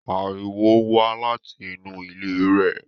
Ariwo ń wá láti inú ilé rẹ̀